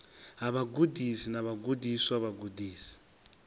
ha vhagudisi na vhagudiswa vhagudisi